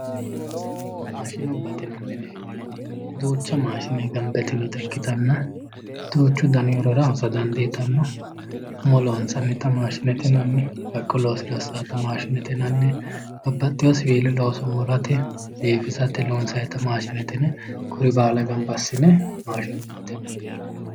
maashinubbate yinanniri duucha maashinubba gamba yitinore ikkitanna duuchu dani horora hosa dandiitanno umo loonsannita maashinete yinanni haqqu loosira hossannota maashinete yinanni babbaxewo siwiila murate biifisate loonsannita maashinete yine kuri baala gamba assine maashinubbate yinanni.